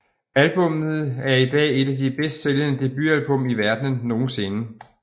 Albummet er i dag et af de bedst sælgende debutalbum i verdenen nogensinde